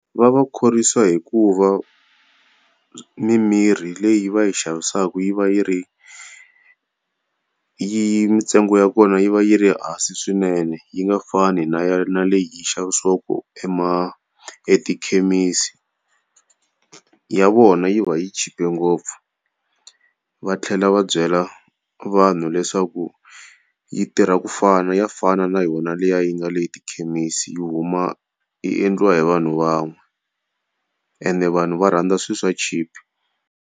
Va va khorwisa hi ku va mimirhi leyi va yi xavisaka yi va yi ri yi mintsengo ya kona yi va yi ri hansi swinene yi nga fani na ya na leyi yi xavisiwaka etikhemisi, ya vona yi va yi chipe ngopfu. Va tlhela va byela vanhu leswaku yi tirha ku fana ya fana na yona liya yi nga le etikhemisi huma yi endliwa hi vanhu van'we, ende vanhu va rhandza swilo swa cheep.